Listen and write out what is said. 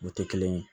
O tɛ kelen ye